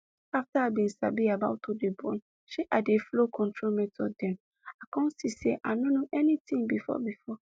afta i bin sabi about to dey born shey i dey flow control method dem i come see say i no know anything before before